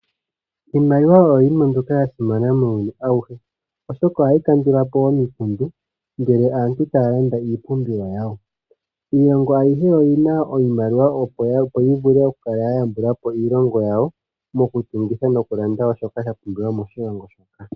Iimaliwa oyo yimwe mbyoka ya simana muuyuni awuhe oshoka ohayi kandula po omikundu, ngele aantu taya landa iipumbiwa yawo. Iilongo ayihe oyi na iimaliwa opo yi vule okukala ya yambula po iilongo yawo, mokutungitha nokulanda shoka sha pumbiwa moshilongo shoka.